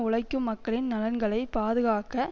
உழைக்கும் மக்களின் நலன்களை பாதுகாக்க